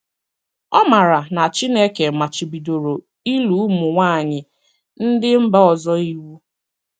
Ọ maara na Chineke machibidoro ịlụ ụmụ nwanyị ndị mba ọzọ iwu.